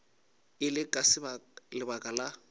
e le ka lebaka la